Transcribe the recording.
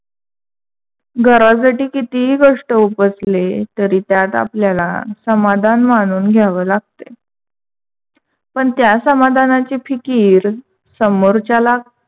घरासाठी कितीही कष्ट उपसले, तरी त्यात आपल्याला समाधान मानून घ्यावे लागत. पण त्या समाधानाची फिकीर समोरच्याला